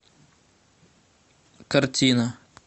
картина